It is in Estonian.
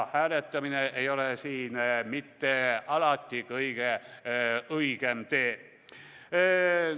Hääletamine ei ole alati kõige õigem tee.